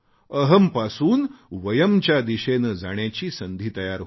अहम् पासून वयम् च्या दिशेने जाण्याची संधी तयार होते